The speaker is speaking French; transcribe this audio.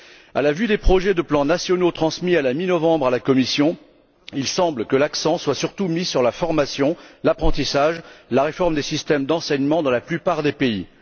Au vu des projets de plans nationaux transmis à la mi novembre à la Commission, il semble que l'accent soit surtout mis sur la formation, l'apprentissage et la réforme des systèmes d'enseignement dans la plupart des pays.